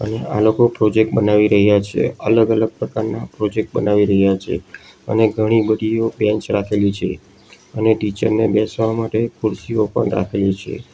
આ લોકો પ્રોજેક્ટ બનાવી રહ્યા છે અલગ અલગ પ્રકારના પ્રોજેક્ટ બનાવી રહ્યા છે અને ઘણી બધીઓ બેન્ચ રાખેલી છે અને ટીચર ને બેસવા માટે ખુરશીઓ પણ રાખેલી છે.